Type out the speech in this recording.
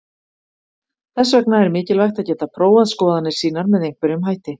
Þess vegna er mikilvægt að geta prófað skoðanir sínar með einhverjum hætti.